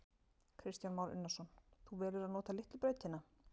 Kristján Már Unnarsson: Þú velur að nota litlu brautina?